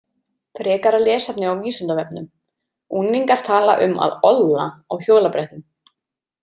Frekara lesefni á Vísindavefnum Unglingar tala um að „olla“ á hjólabrettum.